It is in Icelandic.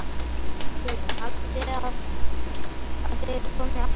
Hugrún: Haldið þið að þið komið aftur?